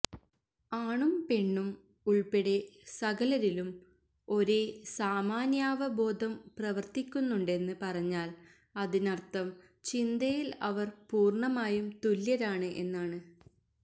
ആണും പെണ്ണും ഉള്പ്പെടെ സകലരിലും ഒരേ സാമാന്യാവബോധം പ്രവര്ത്തിക്കുന്നുണ്ടെന്ന് പറഞ്ഞാല് അതിനര്ഥം ചിന്തയില് അവര് പൂര്ണമായും തുല്യരാണ് എന്നാണ്